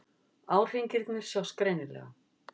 Árhringirnir sjást greinilega.